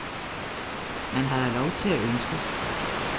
Man har da lov til at ønske.